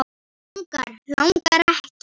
Langar, langar ekki.